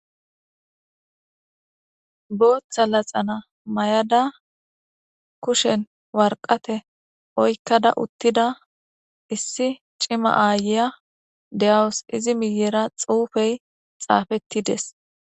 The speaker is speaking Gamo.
Bootha laxana mayada kushen warqate oykkada uttida issi cima aayiya de7awus. Izi millera xuufey xaafetti dees.